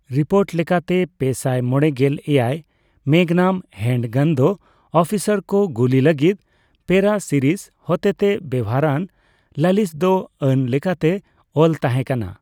Report ᱞᱮᱠᱟᱛᱮ, ᱯᱮᱥᱟᱭ ᱢᱚᱲᱮᱜᱮᱞ ᱮᱭᱟᱭ ᱼᱢᱮᱜᱽᱱᱟᱢ ᱦᱮᱱᱰᱜᱟᱱᱫᱚ ᱚᱯᱷᱤᱥᱟᱨ ᱠᱚ ᱜᱩᱞᱤ ᱞᱟᱹᱜᱤᱫ ᱯᱮᱹᱨᱟᱥᱤᱨᱤᱥ ᱦᱚᱛᱮᱛᱮ ᱵᱮᱣᱦᱟᱨᱟᱱ ᱞᱟᱞᱤᱥᱫᱚ ᱟᱹᱱ ᱞᱮᱠᱟᱛᱮ ᱚᱞ ᱛᱟᱦᱮᱸᱠᱟᱱᱟ ᱾